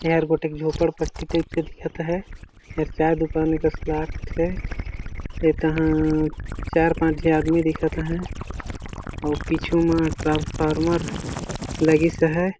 एहर गोटेक झोपड़ पट्टी टाइप से दिखत अहे एहर चाय दुकान लाग थे ते जहा चार पांच झी आदमी दिखत अहे अउ पीछू म ट्रांसफार्मर लगिस अहे।